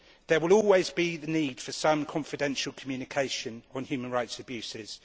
There will always be the need for some confidential communication on human rights abuses.